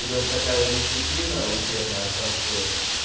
идёт такая дисциплина учебная как